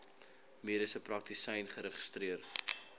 mediese praktisyn geregistreer